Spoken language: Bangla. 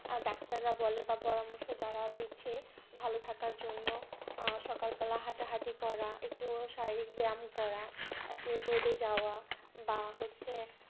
ডাক্তাররা বলে বা পরামর্শ যারা দিচ্ছে ভালো থাকার জন্য সকালবেলা হাঁটাহাটি করা একটু শারীরিক ব্যায়াম করা একটু রোদে যাওয়া বা হচ্ছে